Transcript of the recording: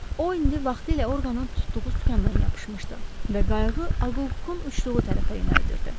O indi vaxtilə orqanın tutduğu sükandan yapışmışdı və qayığı Aqqukun uçduğu tərəfə yönəldirdi.